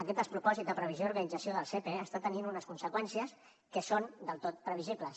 aquest despropòsit de previsió i d’organització del sepe està tenint unes conseqüències que són del tot previsibles